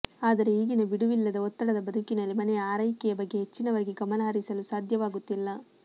ಆದರೆ ಈಗಿನ ಬಿಡುವಿಲ್ಲದ ಒತ್ತಡದ ಬದುಕಿನಲ್ಲಿ ಮನೆಯ ಆರೈಕೆಯ ಬಗ್ಗೆ ಹೆಚ್ಚಿನವರಿಗೆ ಗಮನಹರಿಸಲು ಸಾಧ್ಯವಾಗುತ್ತಿಲ್ಲ